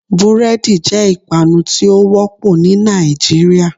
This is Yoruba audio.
Búrédì jé ìpanu tí ó wópò ní Nàìjíríà